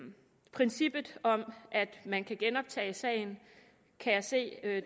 princippet om at man kan genoptage sagen kan jeg se at